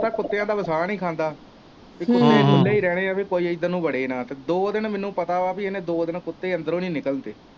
ਮੈਂ ਕੁੱਤਿਆ ਦਾ ਵਸਾ ਨੀ ਖਾਂਦਾ ਕਿ ਕੁੱਤੇ ਖੁੱਲੇ ਹੀ ਰਹਿਣੇ ਕਿ ਕੋਈ ਇੱਧਰ ਨੂੰ ਵੜੇ ਨਾ ਤੇ ਦੋ ਦਿਨ ਮੈਨੂੰ ਪਤਾ ਵਾ ਕਿ ਦੋ ਦਿਨ ਕੁੱਤੇ ਅੰਦਰੋਂ ਹੀ ਨੀ ਨਿਕਲਣ ਤੇ।